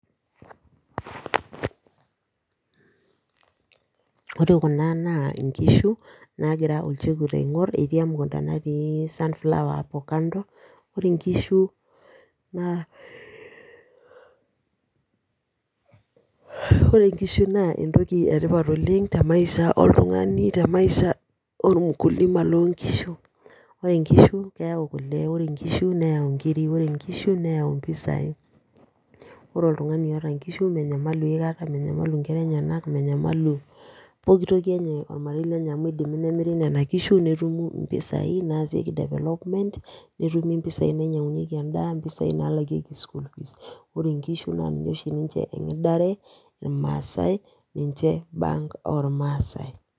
ore kuna naa inkishu, naa gira olchekut aigor, natii sunflower kando naa ore inkishu naa entoki etipat oleng temaisha oltungani, temaisha olmukulima, ore inkishu keyau kule, neyau inkiri, neyau impisai, ore oltungani oota inkishu menyamalu aikata ninye , netumi impisai nalakieki sukuul, ore inkishu naa niche oshi egidare ilmaasai niche bank oo ilmasai.